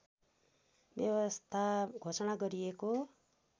व्यवस्था घोषणा गरिएको